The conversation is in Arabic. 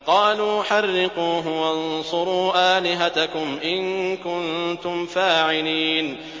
قَالُوا حَرِّقُوهُ وَانصُرُوا آلِهَتَكُمْ إِن كُنتُمْ فَاعِلِينَ